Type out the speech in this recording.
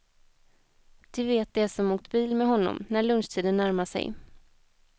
Det vet de som åkt bil med honom, när lunchtiden närmar sig.